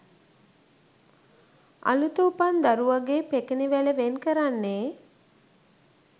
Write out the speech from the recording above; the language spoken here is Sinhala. අලුත උපන් දරුවගේ පෙකණිවැල වෙන් කරන්නේ